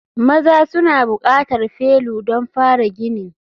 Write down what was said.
Maza suna buƙatar felu don fara ginin.